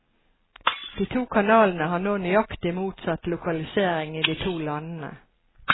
De to kanalene har nå nøyaktig motsatt lokalisering i de to landene.